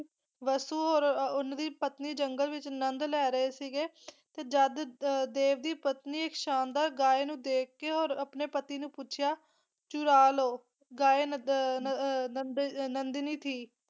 ਵਸੂ ਔਰ ਉਹਨਾਂ ਦੀ ਪਤਨੀ ਜੰਗਲ ਵਿੱਚ ਅੰਨਦ ਲੈ ਰਹੇ ਸੀਗੇ ਤੇ ਜਦ ਅਹ ਦੇਵ ਦੀ ਪਤਨੀ ਸ਼ਾਨਦਾਰ ਗਾਂ ਨੂੰ ਦੇਖਕੇ ਔਰ ਆਪਣੀ ਪਤੀ ਨੂੰ ਪੁੱਛਿਆ ਚੁਰਾ ਲਵੋ ਗਾਏ ਨ ਦ ਨ ਅਹ ਨੰਦਨੀ ਸੀ